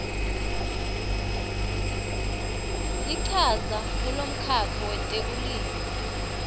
lichaza kulomkhakha wetekulima